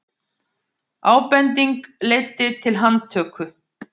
Ábending leiddi til handtöku